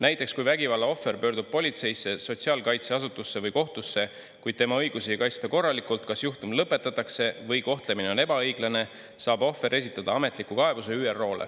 Näiteks kui vägivalla ohver pöördub politseisse, sotsiaalkaitseasutusse või kohtusse, kuid tema õigusi ei kaitsta korralikult, kas juhtum lõpetatakse või kohtlemine on ebaõiglane, saab ohver esitada ametliku kaebuse ÜRO-le.